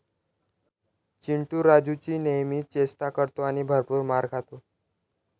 चिंटू राजुची नेहमी चेष्टा करतो आणि भरपूर मार खातो.